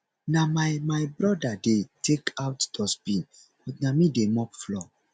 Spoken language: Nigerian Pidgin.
na my my brother dey take out dustbin but na me dey mop floor